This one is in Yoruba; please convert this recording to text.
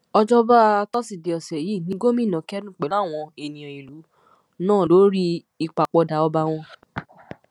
òjọba tosidee ọsẹ yìí ní gómìnà kẹdùn pẹlú àwọn ènìyàn ìlú náà lórí ìpapòdà ọba wọn